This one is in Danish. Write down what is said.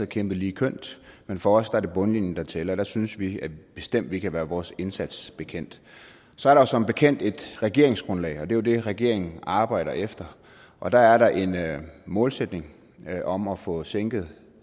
kæmpet lige kønt men for os er det bundlinjen der tæller og der synes vi bestemt at vi kan være vores indsats bekendt så er der som bekendt et regeringsgrundlag det er jo det regeringen arbejder efter og der er der en målsætning om at få sænket